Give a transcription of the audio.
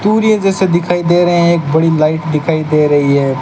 Courier जैसे दिखाई दे रहे हैं एक बड़ी लाइट दिखाई दे रही है।